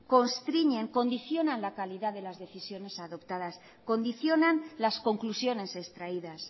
constriñen condicionan la calidad de las decisiones adoptadas condicionan las conclusiones extraídas